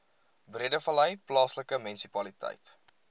breedevallei plaaslike munisipaliteit